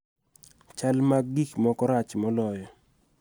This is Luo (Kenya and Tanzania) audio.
Chal mag gik moko rach moloyo.